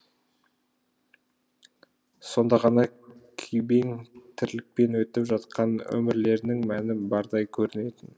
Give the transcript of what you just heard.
сонда ғана күйбең тірлікпен өтіп жатқан өмірлерінің мәні бардай көрінетін